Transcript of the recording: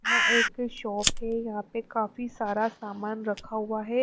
यहां एक शॉप है यहां पे काफी सारा सामान रखा हुआ है।